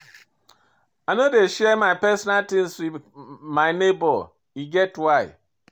I no dey share my personal tins wit my nebor, e get why.